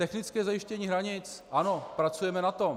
Technické zajištění hranic - ano, pracujeme na tom.